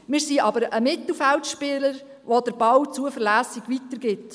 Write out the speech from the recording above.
Wir sind aber ein Mittelfeldspieler, der den Ball zuverlässig weitergibt.